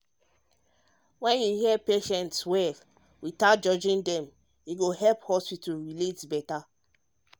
when you hear patients patients well without judging dem e go help hospital relate better.